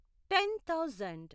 ten thousand